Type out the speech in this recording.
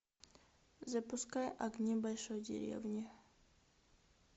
запускай огни большой деревни